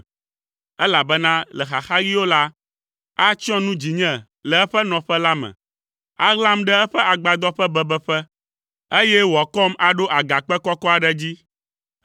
Elabena le xaxaɣiwo la, atsyɔ nu dzinye le eƒe nɔƒe la me; aɣlam ɖe eƒe agbadɔ ƒe bebeƒe, eye wòakɔm aɖo agakpe kɔkɔ aɖe dzi.